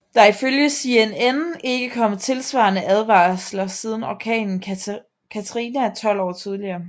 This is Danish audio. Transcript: Der er ifølge CNN ikke kommet tilsvarende advarsler siden Orkanen Katrina 12 år tidligere